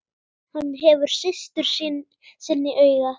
Hann gefur systur sinni auga.